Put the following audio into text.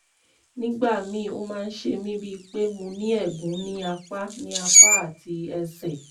nígbà míì ó máa ń ṣe mí bíi pé mo ní ẹ̀gún ní apá ní apá àti ẹsẹ̀